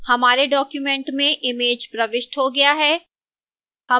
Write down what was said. हमारे document में image प्रविष्ट हो गया है